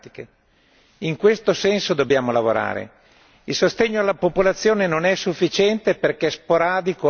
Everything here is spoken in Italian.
In questo senso dobbiamo lavorare il sostegno alla popolazione non è sufficiente perché sporadico e a pioggia